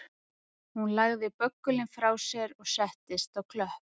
Hún lagði böggulinn frá sér og settist á klöpp